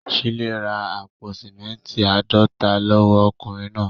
Shílé ra àpò símẹ́ńtì àádọ́ta lọ́wọ́ ọkùnrin náà.